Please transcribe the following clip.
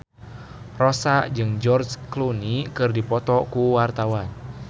Rossa jeung George Clooney keur dipoto ku wartawan